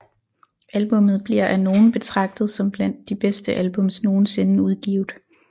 Albummet bliver af nogen betragtet som blandt de bedste albums nogensinde udgivet